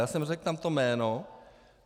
Já jsem řekl tam to jméno.